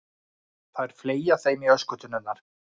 Þær fleygja þeim í öskutunnurnar.